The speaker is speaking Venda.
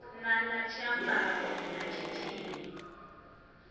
na na tshiambaro na tshithihi